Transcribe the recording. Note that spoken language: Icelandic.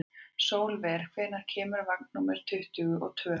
Sólver, hvenær kemur vagn númer tuttugu og tvö?